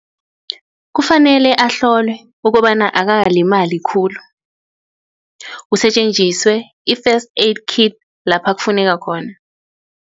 Kufanele ahlolwe ukobana akakalalimali khulu kusetjenziswe i-first aid kit lapha kufuneka khona.